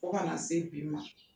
Kori a ma se bi ma